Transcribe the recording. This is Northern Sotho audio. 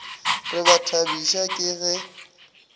re ba thabišwa ke ge